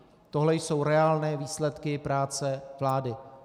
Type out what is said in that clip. Tohle jsou reálné výsledky práce vlády.